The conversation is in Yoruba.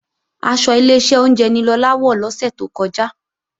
Aṣọ Ileṣẹ́ oúnjẹ ni Lọlá wọ̀ lọ́sẹ̀ tó kọjá